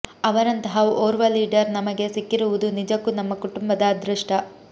ಅವರಂತಹ ಓರ್ವ ಲೀಡರ್ ನಮಗೆ ಸಿಕ್ಕಿರುವುದು ನಿಜಕ್ಕೂ ನಮ್ಮ ಕುಟುಂಬದ ಅದೃಷ್ಟ